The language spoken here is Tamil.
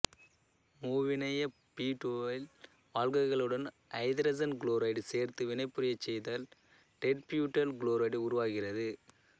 மூவிணைய பியூட்டைல் ஆல்ககாலுடன் ஐதரசன் குளோரைடு சேர்த்து வினைபுரியச் செய்தால் டெர்ட்பியூட்டைல் குளோரைடு உருவாகிறது